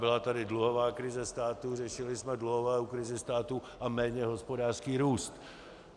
Byla tady dluhová krize státu, řešili jsme dluhovou krizi státu a méně hospodářský růst.